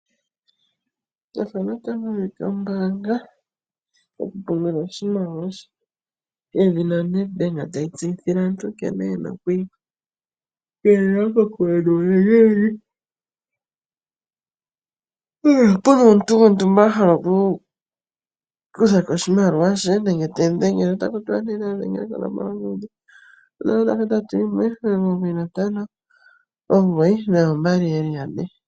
Ombaanga yoNedbank otayi tseyithile aantu nkene yena okwii kaleka kokule nuulingilingi uuna pena omuntu gwontumba a hala oku kutha ko oshimaliwa she. Otaku tiwa nayadhengele konomola yongodhi 081959 2222.